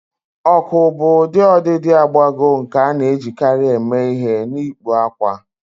Ọkụ bụ ụdị ọdịdị agbagọ nke a na-ejikarị eme ihe n'ịkpụ akwa